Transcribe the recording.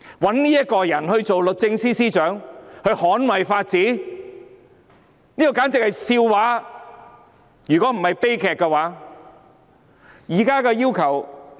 委任這個人擔任捍衞法治的律政司司長，如果不是悲劇，就是笑話。